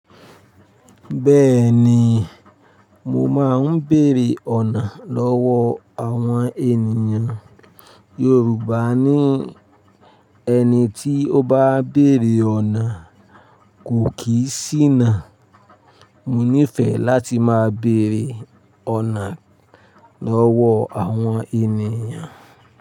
Bẹ́ẹ̀ni, mo máa ń bèèrè ọ̀nà lọ́wọ́ àwọn ènìyàn Yorùbá ní ẹni tí ó bá bèèrè ọ̀nà kò kì í ṣìnà. Mo nífẹ̀ẹ́ láti máa bèèrè ọ̀nà lọ́wọ́ àwọn ènìyàn.